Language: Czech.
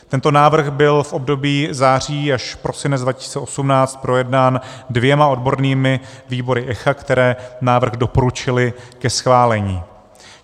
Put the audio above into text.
Tento návrh byl v období září až prosinec 2018 projednán dvěma odbornými výbory ECHA, které návrh doporučily ke schválení.